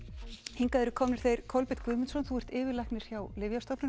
hingað eru komnir þeir Kolbeinn Guðmundsson yfirlæknir hjá Lyfjastofnun og